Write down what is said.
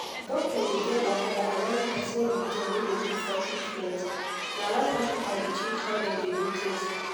doctor dey get wahala when person religion no de gree for treatment na why hospital dey change how dem dey do things